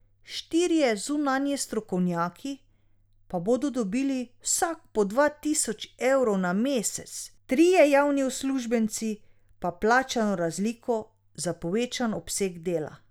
Štirje zunanji strokovnjaki pa bodo dobili vsak po dva tisoč evrov na mesec, trije javni uslužbenci pa plačano razliko za povečan obseg dela.